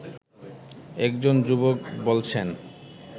একজন যুবক বলছেন